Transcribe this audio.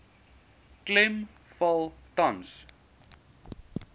klem val tans